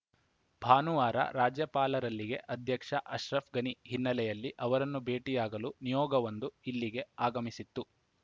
ಭಾನುವಾರ ರಾಜ್ಯಪಾಲರಲ್ಲಿಗೆ ಅಧ್ಯಕ್ಷ ಅಶ್ರಫ್‌ ಘನಿ ಹಿನ್ನೆಲೆಯಲ್ಲಿ ಅವರನ್ನು ಭೇಟಿಯಾಗಲು ನಿಯೋಗವೊಂದು ಇಲ್ಲಿಗೆ ಆಗಮಿಸಿತ್ತು